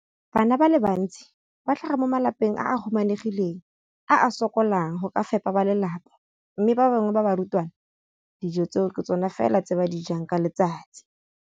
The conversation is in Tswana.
Bana ba le bantsi ba tlhaga mo malapeng a a humanegileng a a sokolang go ka fepa ba lelapa mme ba bangwe ba barutwana, dijo tseo ke tsona fela tse ba di jang ka letsatsi.